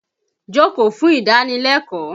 Jókòó fún ìdánilẹ́kọ̀ọ́!